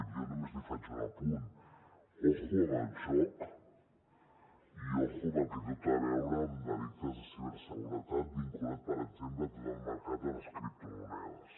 jo només li faig un apunt compte amb el joc i compte amb el que té a veure amb delictes de ciberseguretat vinculats per exemple a tot el mercat de les criptomonedes